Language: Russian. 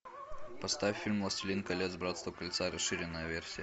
поставь фильм властелин колец братство кольца расширенная версия